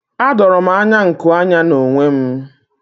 Adoro m anya nku anya n'onwe m.